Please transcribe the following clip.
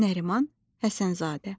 Nəriman Həsənzadə.